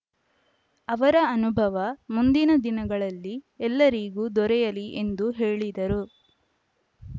ಅವರ ಅನುಭವ ಮುಂದಿನ ದಿನಗಳಲ್ಲಿ ಎಲ್ಲರಿಗೂ ದೊರೆಯಲಿ ಎಂದು ಹೇಳಿದರು